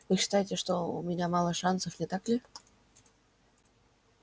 вы считаете что у меня мало шансов не так ли